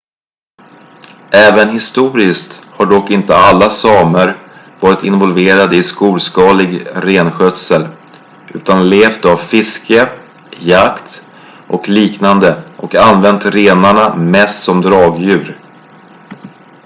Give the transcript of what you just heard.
även historiskt har dock inte alla samer varit involverade i storskalig renskötsel utan levt av fiske jakt och liknande och använt renarna mest som dragdjur